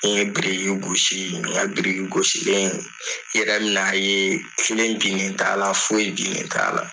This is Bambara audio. I ye biriki gosi mɛ' briyi , nin u'a biriki gosilen. I yɛrɛ bi na ye kelen binnen, foyi binnen t'a la .